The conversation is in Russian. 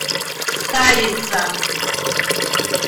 старица